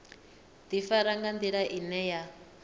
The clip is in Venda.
ḓifara nga nḓila ine ya